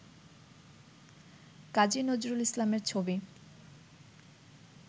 কাজী নজরুল ইসলামের ছবি